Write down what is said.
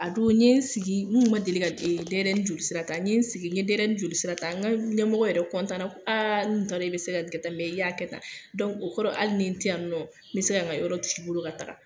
A don ne ye n sigi , n tun ma deli ka denyɛrɛnin joli sira ta, n ye sigi n ye denyɛrɛnin joli sira ta, n ka ɲɛmɔgɔ yɛrɛ kɔntan na ko aa n kun tea dɔn e bɛ se k'a kɛ tan, i y'a kɛ tan, dɔnku , o kɔrɔ hali ni n tɛ yan nɔ , n bɛ se ka nka yɔrɔ t'ii bolo ka taga!